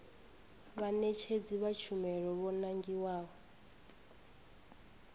vhaṋetshedzi vha tshumelo vho nangiwaho